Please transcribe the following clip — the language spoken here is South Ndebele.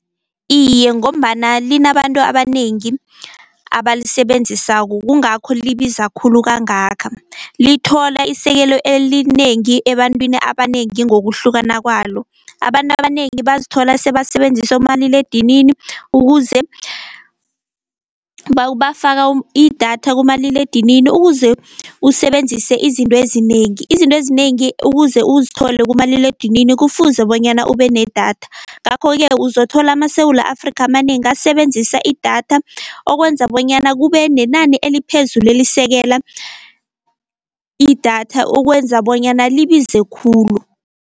Iye ngombana linabantu abanengi abalisebenzisako kungakho libiza khulu kangaka, lithola isekelo elinengi ebantwini abanengi ngokuhlukana kwalo. Abantu abanengi bazithola sebasebenzisa omaliledinini ukuze bafaka idatha kumaliledinini ukuze usebenzise izinto ezinengi. Izinto ezinengi ukuze uzithole kumaliledinini kufuze bonyana ube nedatha. Ngakho-ke uzothola amaSewula Afrika amanengi asebenzisa idatha, okwenza bonyana kube nenani eliphezu elisekela idatha, okwenza bonyana libize khulu